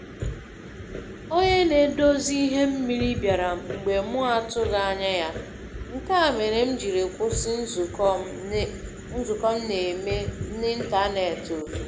Onye na-edozi ihe mmiri bịara mgbe mụ atụghị ányá ya, nke a méré m jiri kwụsi nzukọ m na-eme na ntanetị ozugbo.